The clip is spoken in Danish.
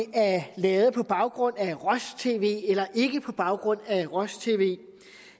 lavet på baggrund af roj tv eller ikke på baggrund af roj tv